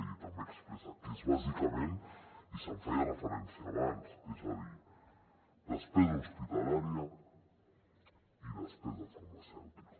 i també expressa que és bàsicament i s’hi feia referència abans és a dir despesa hospitalària i despesa farmacèutica